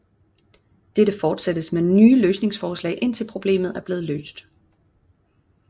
Dette fortsættes med nye løsningsforslag indtil problemet er blevet løst